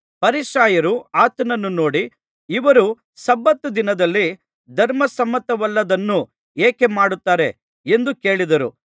ಫರಿಸಾಯರು ಆತನನ್ನು ನೋಡು ಇವರು ಸಬ್ಬತ್ ದಿನದಲ್ಲಿ ಧರ್ಮಸಮ್ಮತವಲ್ಲದ್ದನ್ನು ಏಕೆ ಮಾಡುತ್ತಾರೆ ಎಂದು ಕೇಳಿದರು